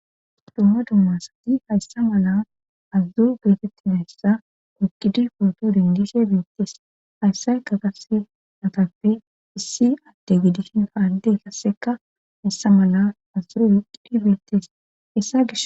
dumma dummasati hayssa mala azudzu geetettinayssa ugidi porto dingise beettees hayssay ka qase matappe issi adde gidishin faade kasseka hayssa mala azuro wuqidi beitees issa gish